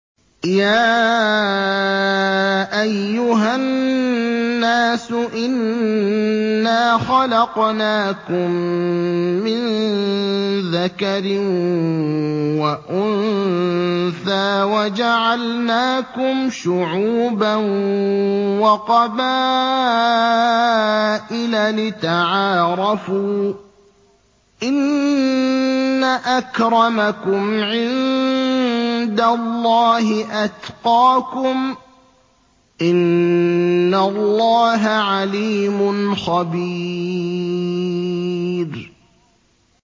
يَا أَيُّهَا النَّاسُ إِنَّا خَلَقْنَاكُم مِّن ذَكَرٍ وَأُنثَىٰ وَجَعَلْنَاكُمْ شُعُوبًا وَقَبَائِلَ لِتَعَارَفُوا ۚ إِنَّ أَكْرَمَكُمْ عِندَ اللَّهِ أَتْقَاكُمْ ۚ إِنَّ اللَّهَ عَلِيمٌ خَبِيرٌ